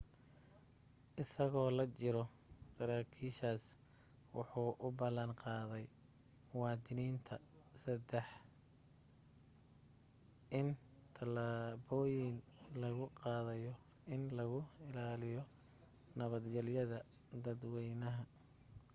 isagoo la jiro saraakiishaas wuxuu u ballan qaaday muwadiniinta texas in talaabooyin lagu qaadayo in lagu ilaaliyi nabadgeliyada dadwaynaha